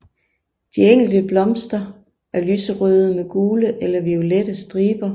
De enkelte blomster er lyserøde med gule eller violette striber